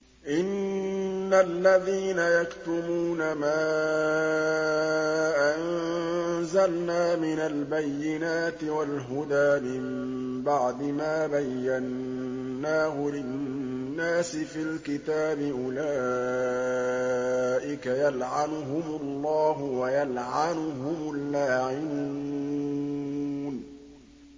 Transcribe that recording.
إِنَّ الَّذِينَ يَكْتُمُونَ مَا أَنزَلْنَا مِنَ الْبَيِّنَاتِ وَالْهُدَىٰ مِن بَعْدِ مَا بَيَّنَّاهُ لِلنَّاسِ فِي الْكِتَابِ ۙ أُولَٰئِكَ يَلْعَنُهُمُ اللَّهُ وَيَلْعَنُهُمُ اللَّاعِنُونَ